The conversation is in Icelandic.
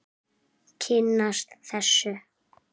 Kynnast þessu.